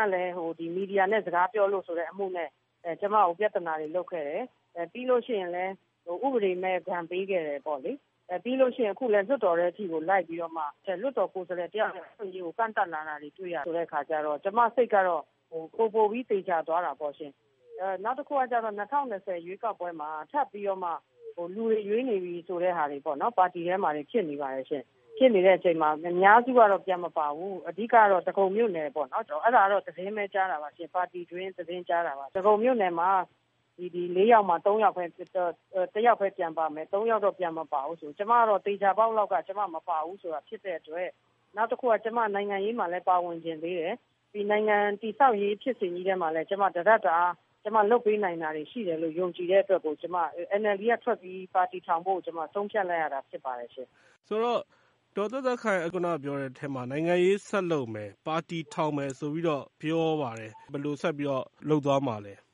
်ကလည်း မီဒီယာနဲ့ စကားပြောလို့ဆိုတဲ့ အမှုနဲ့ ကျမကို ပြဿနာတွေ လုပ်ခဲ့တယ်။ ပြီးလို့ရှိရင်လည်း ဥပဒေမဲ့ ဒဏ်ပေးခဲ့တယ်ပေါ့လေ။ အခုလည်း လွှတ်တော်ထဲအထိကို လိုက်ပြီးတော့မှ လွှတ်တော်ကိုယ်စားလှယ် တယောက်ရဲ့ အခွင့်အရေးကို ကန့်သတ်လာတာတွေ တွေ့ရတဲ့အခါကျတော့ ကျမစိတ်ကတော့ ပိုပိုပြီး သေချာသွားတာပေါ့ရှင့်။ နောက်တခုက ၂၀၂၀ ရွေးကောက်ပွဲမှာ လူတွေရွေးနေပြီ ဆိုတဲ့ဟာ ပါတီထဲမှာ ဖြစ်နေပါတယ်။ ဖြစ်နေတဲ့အချိန်မှာ အများစုကတော့ ပြန်မပါဘူး။ အဓိကတော့ ဒဂုံမြို့နယ်ပေါ့။ အဲဒါတော့ ပါတီတွင်း သတင်းပဲ ကြားတာပါ။ ဒဂုံမြို့နယ်မှာ လေးယောက်မှာ တယောက်ပဲ ပြန်ပါမယ်၊ သုံးယောက်တော့ ပြန်မပါဘူးဆိုပြီး ကျမတော့ သေချာပေါက်လောက် မပါဘူးဆိုတာ ဖြစ်တဲ့အတွက်၊ နောက်တခုက ကျမ နိုင်ငံရေးမှာလည်း ပါဝင်ချင်သေးတယ်။ နိုင်ငံတည်ဆောက်ရေး ဖြစ်စဉ်ကြီးထဲမှာလည်း တတပ်တအား ကျမ လုပ်ပေးနိုင်တာတွေ ရှိတယ်လို့ ယုံကြည်တဲ့အတွက် ကျမ NLD ကထွက်ပြီး ပါတီထောင်ဖို့ ဆုံးဖြတ်လိုက်ရတာ ဖြစ်ပါတယ်။ ဒေါ်သက်သက်ခိုင် ခုနပြောတဲ့အထဲမှာ နိုင်ငံရေးဆက်လုပ်မယ်၊ ပါတီထောင်မယ် ဆိုပြီးတော့ ပြောပါတယ်။ ဘယ်လိုဆက်ပြီးတော့ လုပ်သွားမှာလဲ။